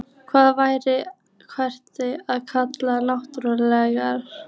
Hvað væri hægt að kalla náttúruminjar?